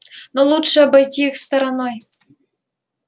но лучше обойти их стороной